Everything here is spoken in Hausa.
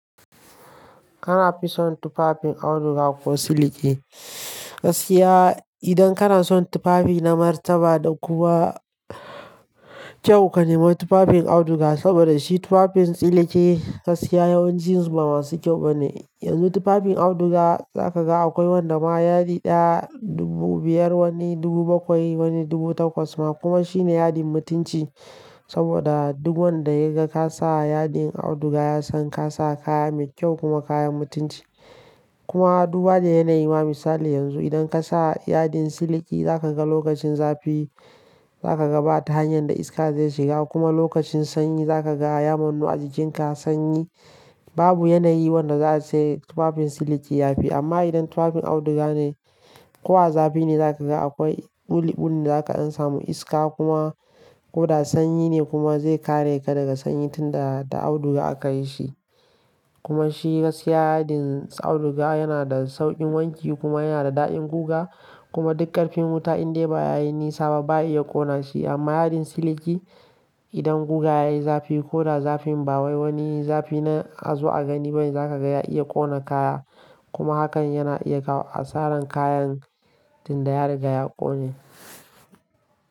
Kana fi son tufafin auduga ko siliki? Gaskiya idan kana son tufafi na martaba da kuma kyau ka nema tufafin auduga. Saboda shi tufafin siliki gaskiya yawancin su ba masu kyau ba ne. Yanzu tufafin auduga za ka ga akwai wanda ma yadi ɗaya, dubu biyar wani, dubu bakwai wani dubu takwas ma kuma shine yadin mutunci saboda duk wanda ya ga ka sa yadin auduga ya san ka sa kaya mai kyau kuma kayan mutunci. Kuma duba da yanayi ma misali yanzu idan ka sa yadin siliki za ka ga lokacin zafi za ka ga ba ta hanyar da iska zai shiga kuma lokacin sanyi za ka ga ya manu ajujin ka sanyi. Babu yanayi wanda za a ce tufafin siliki ya fi amma idan tufafin auduga ne ko a zafi ne za ka ga akwai buli-bulin da za ka sha samu iska kuma ko da sanyi ne kuma zai kare ka daga sanyin tun da auduga aka yi shi. Kuma shi gaskiya yadin auduga yana da sauƙin wanki kuma yana da daɗin guga kuma duk ƙarfin wuta in dai ba ya yi nisa ba ba iya ƙona shi amma yadin siliki idan guga ya yi zafi ko da zafin ba wai wani zafi na azu a gani ba ne za ka ga ya iya ƙona kaya kuma hakan yana iya kawo asarar kayan tun da ya riga ya ƙone.